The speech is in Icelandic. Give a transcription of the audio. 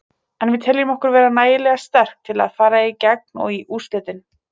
En við teljum okkur vera nægilega sterka til að fara í gegn og í úrslitin.